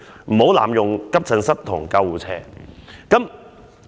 唔好濫用急診室同救護車。